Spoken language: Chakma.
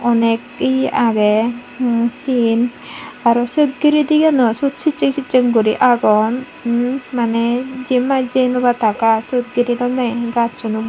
onek ye agey em siyen aro se gire deganot suot sucheng sucheng guri agon mane jiyenpai jey no pattak iy sut gire dunney gachunot.